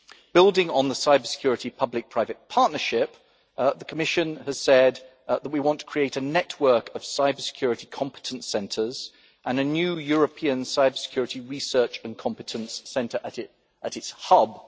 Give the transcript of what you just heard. Building on the cybersecurity public private partnership, the Commission has said that we want to create a network of cybersecurity competence centres and a new European cybersecurity research and competence centre at its hub.